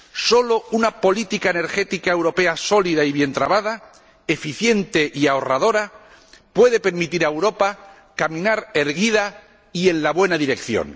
Solo una política energética europea sólida y bien tramada, eficiente y ahorradora, puede permitir a Europa caminar erguida y en la buena dirección.